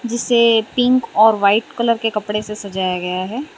जिसे पिंक और white colour के कपड़े से सजाया गया है।